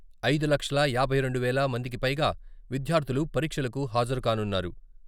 ఐదు లక్షల యాభై రెండు వేల మందికిపైగా విద్యార్థులు పరీక్షలకు హాజరుకానున్నారు.